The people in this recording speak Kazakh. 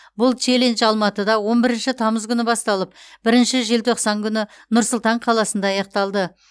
бұл челлендж алматыда он бірінші тамыз күні басталып бірінші желтоқсан күні нұр сұлтан қаласында аяқталды